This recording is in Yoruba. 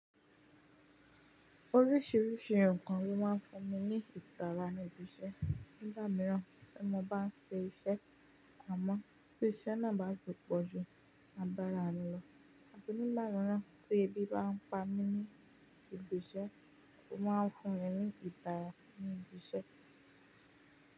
Oríṣiríṣi ǹkan ni ó má ń fún mi ní ìtara ní ibi iṣẹ́ nígbà mìíràn tí mo bá n ṣe iṣẹ́. Àmọ́ tí iṣẹ́ náà bá ti pọ̀jù, a bá ra lọ. Abi nigba miiràn tí ẹbí bá ń pa mí ní ibi iṣẹ́, ó má ń fún mi ní ìtara ní ibi iṣẹ́.